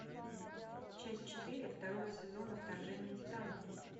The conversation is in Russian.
часть четыре второго сезона вторжение титанов